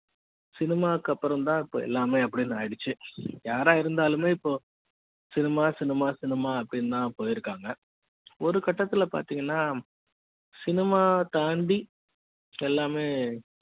cinema க்கு அப்புறம் தான் இப்ப எல்லாமே அப்படின்னு ஆயிருச்சு யாரா இருந்தாலுமே இப்ப cinema cinema cinema அப்படின்னு தான் போயிருக்காங்க ஒரு கட்டத்துல பாத்தீங்கன்னா cinema தாண்டி எல்லாமே